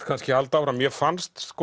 kannski halda áfram mér fannst